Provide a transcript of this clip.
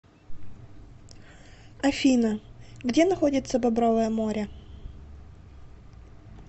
афина где находится бобровое море